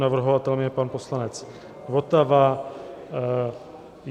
Navrhovatelem je pan poslanec Votava.